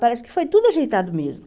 Parece que foi tudo ajeitado mesmo.